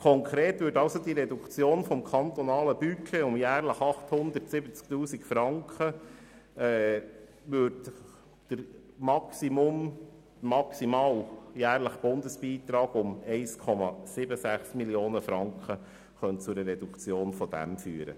Konkret könnte also die Reduktion des kantonalen Budgets um jährlich 870 000 Franken zu einer maximalen jährlichen Reduktion der Bundesmittel in der Höhe von 1,76 Mio. Franken führen.